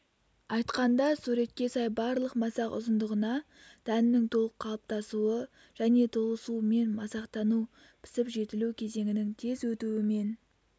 айтқанда суретке сай барлық масақ ұзындығына дәннің толық қалыптасуы және толысуымен масақтану пісіп-жетілу кезеңінің тез өтуімен